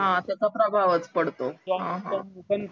हां त्याच्या प्रभावच पडतो हां हां